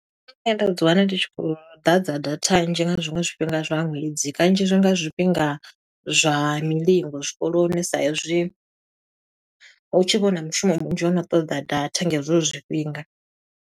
Nda dzi wana ndi tshi khou ḓadza data nzhi nga zwiṅwe zwifhinga zwa ṅwedzi. Kanzhi zwi nga zwifhinga zwa milingo zwikoloni sa i zwi, hu tshi vha huna mushumo munzhi u no ṱoḓa data nga hezwo zwifhinga,